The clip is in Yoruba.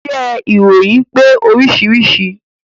Iṣẹ́ ìròyìn pé oríṣiríṣi